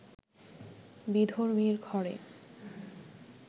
বিধর্মীর ঘরে